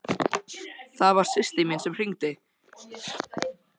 Það var systir mín sem hringdi.